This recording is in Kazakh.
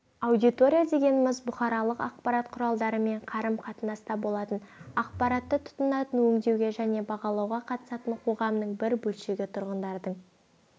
аудитория дегеніміз бұқаралық ақпарат кұралдарымен қарым-қатынаста болатын ақпаратты тұтынатын өңдеуге және бағалауға қатысатын қоғамның бір бөлшегі тұрғындардың